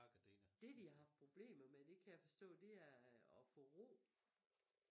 Det de har haft problemer med det kan jeg forstå det er og få ro